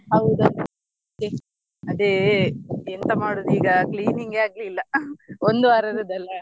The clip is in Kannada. ಹೌದೌದು ಅದೇ ಎಂತ ಮಾಡುದು ಈಗ cleaning ಗೆ ಆಗ್ಲಿಲ್ಲ ಒಂದು ವಾರ ಇರುದಲ್ಲ.